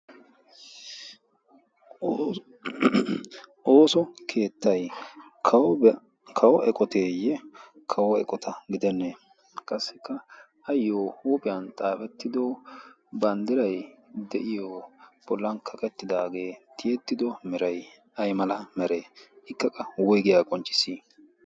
ooso keettay kawo eqoteeyye kawo eqota gidennee qassikka ayyo huuphiyan xaafettido banddiray de'iyo bollan kaqettidaagee tiyettido merai ay mala meree? ikkaqa woygiyaa qoncci?